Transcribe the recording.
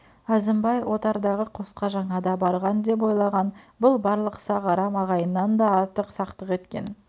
әзімбай отардағы қосқа жаңада барған деп ойлаған бұл барлық сақ арам ағайыннан да артық сақтық еткен